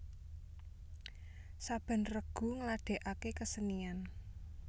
Saben regu ngladèkaké kesenian